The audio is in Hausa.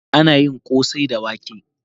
Ana yin kosai da wake